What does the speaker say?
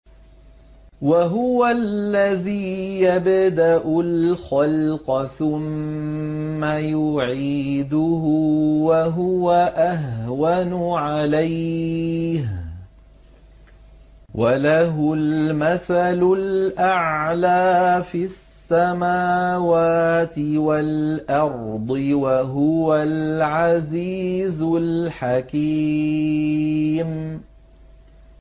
وَهُوَ الَّذِي يَبْدَأُ الْخَلْقَ ثُمَّ يُعِيدُهُ وَهُوَ أَهْوَنُ عَلَيْهِ ۚ وَلَهُ الْمَثَلُ الْأَعْلَىٰ فِي السَّمَاوَاتِ وَالْأَرْضِ ۚ وَهُوَ الْعَزِيزُ الْحَكِيمُ